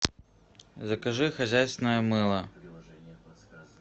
закажи хозяйственное мыло